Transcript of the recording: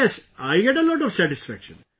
Yes, I get a lot of satisfaction